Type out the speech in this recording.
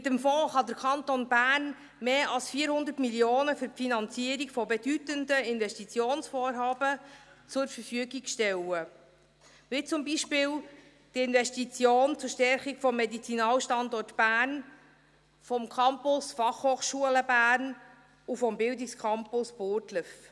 Mit dem Fonds kann der Kanton Bern mehr als 400 Mio. Franken für die Finanzierung von bedeutenden Investitionsvorhaben zur Verfügung stellen, wie zum Beispiel die Investition zur Stärkung des Medizinalstandorts Bern, des Campus BFH und des Bildungscampus Burgdorf.